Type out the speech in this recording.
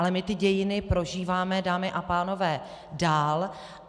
Ale my ty dějiny prožíváme, dámy a pánové, dál.